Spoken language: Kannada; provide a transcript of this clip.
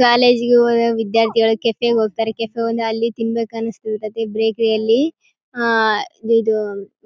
ಕಾಲೇಜುಗೆ ಹೋಗುವ ವಿದ್ಯಾರ್ಥಿಗಳು ಕೆಫೆಗ ಹೋಗ್ತಾರೆ ಕೆಫೆಗ ಹೋದ್ರೆ ಅಲ್ಲಿ ತಿನ್ಬೇಕು ಅನ್ಸುತ್ತೆ ಬೇಕರಿಯಲ್ಲಿ ಆಹ್ಹ್ ಇದು